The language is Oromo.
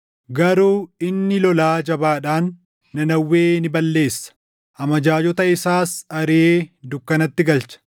Garuu inni lolaa jabaadhaan Nanawwee ni balleessa; amajaajota isaas ariʼee dukkanatti galcha.